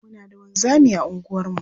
Muna da wanzami a unguwarmu.